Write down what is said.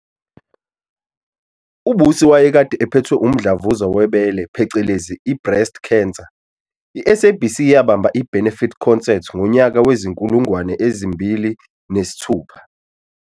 UBusi wayekade ephethwe Umdlavuza webele phecelezi i-"Breast cancer", i-SABC yabamba i-Benefit concert ngonyaka wezi-2006